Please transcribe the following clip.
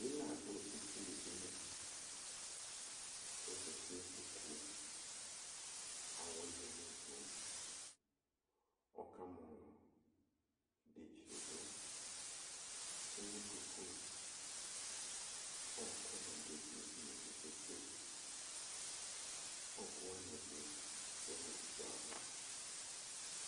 Ina dʋ esili dini ɔzati nʋ ikpokʋ kʋ awɛ yanʋ ivʋ ɔkamɔlɔ idetsi yɛ dʋ ewʋ duku ɔkʋ ni dʋ esilidinie kpe kpe kpe ɔkʋ wani ɛdi lɛnʋ ukpo ava